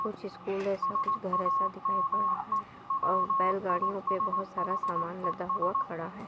कुछ स्कूल ऐसा कुछ घर ऐसा दिखाई पड़ रहा है और बैलगाड़ियों पर बहुत सारा समान लदा हुआ खड़ा है।